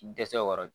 Dɛsɛ kɔrɔ